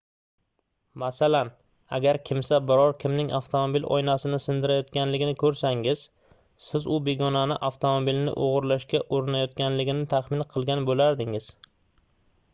masalan agar kimsa biror kimning avtomobil oynasini sindirayotganligini koʻrsangiz siz u begonaning avtomobilini oʻgʻirlashga urinayotganligini taxmin qilgan boʻlardingiz